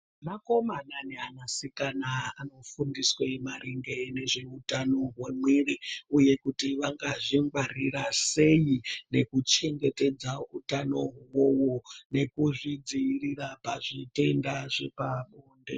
Vakomana neana sikana anofundiswe maringe nezveutano hwemwiri, uye kuti vangazvingwarira sei nekuchengetedza utano ihoho nekuzvidzirira pazvitenda zvepabonde.